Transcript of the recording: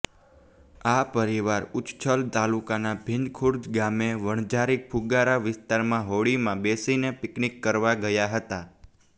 આ પરિવાર ઉચ્છલ તાલુકાના ભીંતખુંર્દ ગામે વણઝારી ફુગારા વિસ્તારમાં હોળીમાં બેસીને પીકનીક કરવા ગયા હતા